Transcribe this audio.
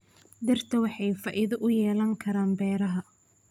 Dhirta waxay faa'iido u yeelan karaan beeraha.